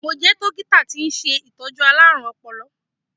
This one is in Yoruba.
Mo jẹ́ dókítà tí ń ṣe Ìtọ́jú alárùn ọpọlọ.